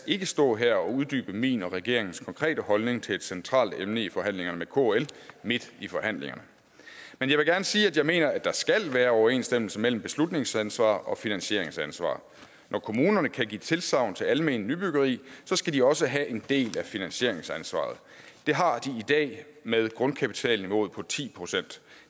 ikke stå her og uddybe min og regeringens konkrete holdning til et centralt emne i forhandlingerne med kl midt i forhandlingerne men jeg vil gerne sige at jeg mener der skal være overensstemmelse mellem beslutningsansvar og finansieringsansvar når kommunerne kan give tilsagn til alment nybyggeri skal de også have en del af finansieringsansvaret det har de i dag med grundkapitalniveauet på ti procent